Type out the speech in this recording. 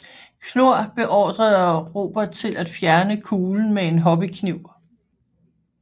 Knorr beordrede Robert til at fjerne kuglen med en hobbykniv